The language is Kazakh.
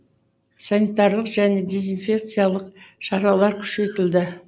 санитарлық және дезинфекциялық шаралар күшейтілді